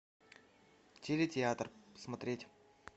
телетеатр смотреть